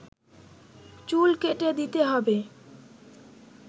চুল কেটে দিতে হবে